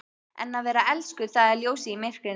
En að vera elskuð- það er ljósið í myrkrinu!